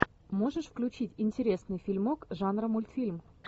можешь включить интересный фильмок жанра мультфильм